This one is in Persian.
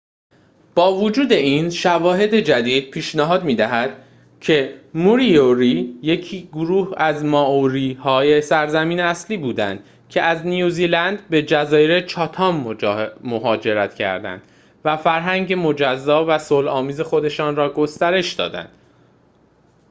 با وجود این شواهد جدید پیشنهاد می‌دهد که موریوری یک گروه از مائوری های سرزمین اصلی بودند که از نیوزلند به جزایر چاتام مهاجرت کرده و فرهنگ مجزا و صلح‌آمیز خودشان را گسترش دادند